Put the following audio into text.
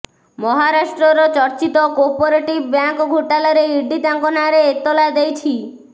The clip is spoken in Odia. ମହାରାଷ୍ଟ୍ରର ଚର୍ଚ୍ଚିତ କୋପରେଟିଭ ବ୍ୟାଙ୍କ ଘୋଟାଲାରେ ଇଡି ତାଙ୍କ ନାଁରେ ଏତାଲା ଦେଇଛି